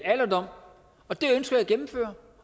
alderdom og det ønsker jeg at gennemføre